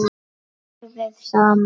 BORÐIÐ SAMAN